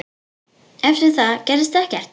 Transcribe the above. Eftir það gerðist ekkert.